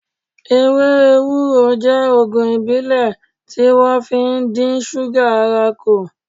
Ewé ewúro je Ògùn ìbílẹ̀ tí wón fi ń dín súgà ara kù